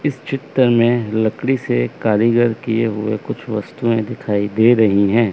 इस चित्र में लकड़ी से कारीगर किए हुए कुछ वस्तुएं दिखाई दे रही हैं।